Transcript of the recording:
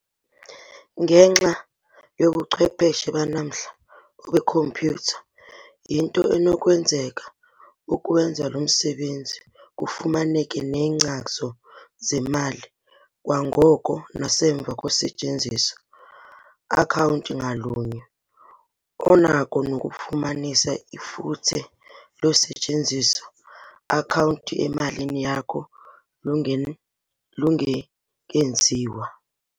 Ngenxa yobuchwepheshe banamhla, obeekhompyutha, yinto enokwenzeka ukuwenza lo msebenzi kufumaneke neenkcazo zemali kwangoko nasemva kosetyenziso-akhawunti ngalunye. Unako nokufumanisa ifuthe losetyenziso-akhawunti emalini yakho lungekenziwa.